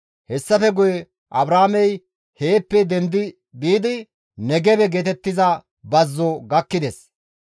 Hessafe guye Abraamey heeppe dendi biidi Negebe geetettiza bazzo gakkides.